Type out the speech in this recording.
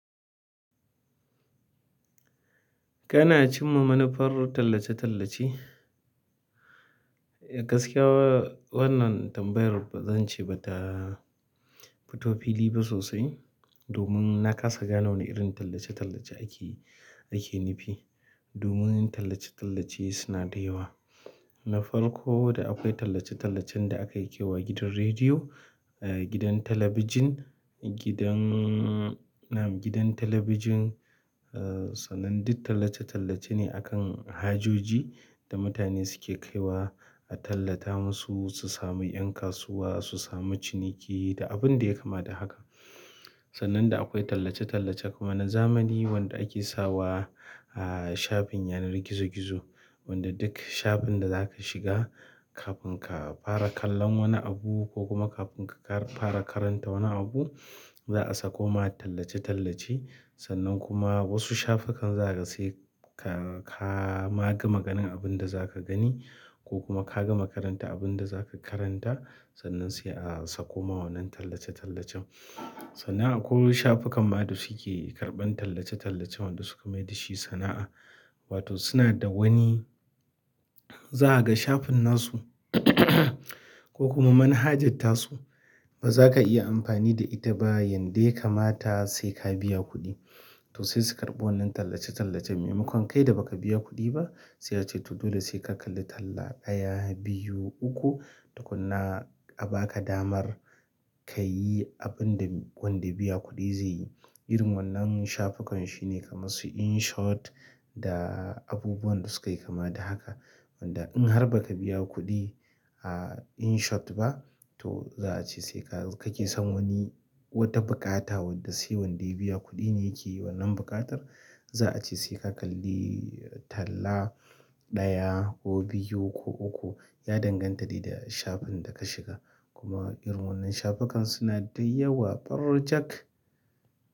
Kana cimma manufar tallace-tallace? Gaskiya wannan tambayar ba zan ce ba ta fito fili ba sosai domin na kasa gane wane irin tallace-tallace ake, ake nufi. Domin tallace-tallace suna da yawa. Na farko da akwai tallace-tallacen da ake kai wa gidan rediyo, gidan talabijin, gidan. Na'am gidan talabijin. Sannan duk tallace-tallace ne akan hajoji da mutane suke kaiwa a tallata musu su sami 'yan kasuwa, su sami ciniki da abin da ya kama da haka. Sannan da akwai tallace-tallace kuma na zamani wanda ake sawa a shafin yanar gizo-gizo. Wanda duk shafin da za ka shiga kafin ka fara kallon wani abu ko kuma kafin ka fara karanta wani abu, za a saƙo ma tallace-tallace. Sannan kuma wasu shafukan za ka ga sai ka, ka ma gama ganin abin da za ka gani ko kuma ka gama karanta abin da za ka karanta sannan sai a saƙo ma wannan tallace-tallacen. Sannan akwai shafukan ma da suke karɓan tallace-tallacen wanda suka mayar dashi sana'a. Wato suna da wani, za ka ga shafin nasu ko kuma manhajarta su. Ba za ka iya amfani da ita ba yanda kamata sai ka biya kuɗi. To sai su karɓo wannan tallace-tallacen maimakon kai da ba ka biya kuɗi ba. Sai a ce to dole sai ka kalli talla ɗaya, biyu, uku. Tukunna a baka damar kayi abinda wanda ya biya kuɗi ze yi. Irin wannan shafukan shi ne kaman su Inshot da abubuwan da suka yi kama da haka wanda in har ba ka biya kuɗi a Inshot ba to za a ce sai ka, ka ke san wani wata buƙata wanda sai wanda ya biya kuɗi ne yake yi wannan buƙatar. Za a ce sai ka kalli talla ɗaya ko biyu ko uku ya danganta da shafin da ka shiga. Kuma irin wannan shafukan suna da yawa, ɓarjak.